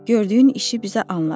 Gördüyün işi bizə anlat.